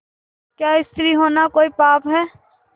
क्या स्त्री होना कोई पाप है